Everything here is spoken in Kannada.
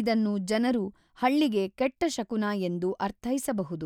ಇದನ್ನು ಜನರು ಹಳ್ಳಿಗೆ ಕೆಟ್ಟ ಶಕುನ ಎಂದು ಅರ್ಥೈಸಬಹುದು.